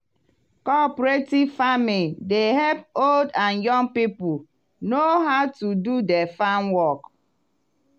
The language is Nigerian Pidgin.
cooperative farming dey help old and young people know how to do di farm work.